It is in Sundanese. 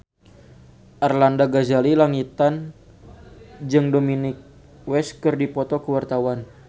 Arlanda Ghazali Langitan jeung Dominic West keur dipoto ku wartawan